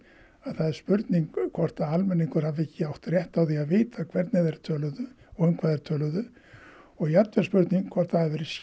að það er spurning hvort almenningur hafi ekki átt rétt á því að vita hvernig þeir töluðu og um hvað þeir töluðu og jafnvel spurning hvort það hafi verið